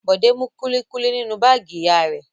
Bọ̀dé mú kúlíkúlí nínú báágì ìyá rẹ̀.